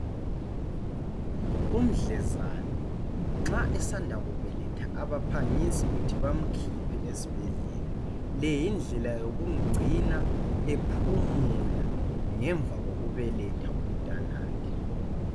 Umdlezane nxa esanda kubeletha abaphangisi kuthi bamkhiphe esibhedlela .Le yindlela yokumgcina ephumula ngemva kokubeletha umntanakhe.